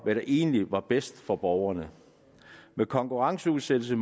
hvad der egentlig var bedst for borgerne men konkurrenceudsættelse